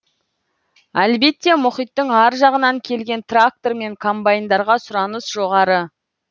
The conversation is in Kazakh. әлбетте мұхиттың ар жағынан келген трактор мен комбайндарға сұраныс жоғары